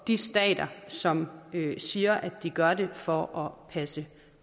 de stater som siger at de gør det for at passe